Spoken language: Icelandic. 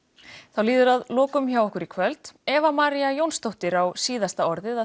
þá líður að lokum hjá okkur í kvöld Eva María Jónsdóttir á síðasta orðið